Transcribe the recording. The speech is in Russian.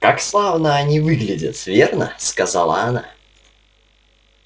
как славно они выглядят верно сказала она